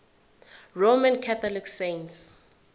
roman catholic saints